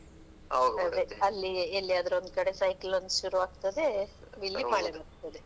ಅದೇ ಅಲ್ಲಿ ಎಲ್ಲಿಯಾದ್ರೂ ಒಂದ್ ಕಡೆ cyclone ಶುರು ಆಗ್ತದೆ, ಇಲ್ಲಿ ಮಳೆ ಬರ್ತದೆ.